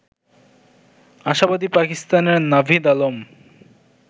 আশাবাদী পাকিস্তানের নাভিদ আলম